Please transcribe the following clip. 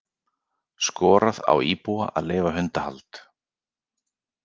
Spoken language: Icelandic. Skorað á íbúa að leyfa hundahald